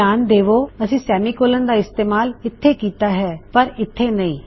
ਧਿਆਨ ਦੇਵੋ ਅਸੀ ਸੈਮੀਕੋਲਨ ਦਾ ਇਸਤੇਮਾਲ ਇਥੇ ਕਿੱਤਾ ਹੈ ਪਰ ਇੱਥੇ ਨਹੀ